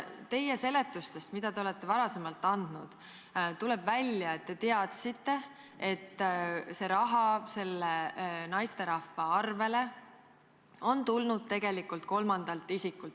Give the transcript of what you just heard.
Teie seletustest, mida te olete varem andnud, tuleb välja, et te teadsite, et see raha selle naisterahva arvele on tulnud tegelikult kolmandalt isikult.